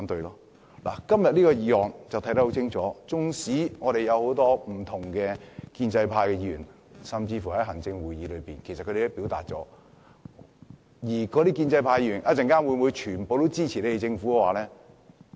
從今天討論的《條例草案》就會看得很清楚，縱使有很多建制派議員甚至行政會議成員均表達了意見，但我們稍後會否全都支持政府呢？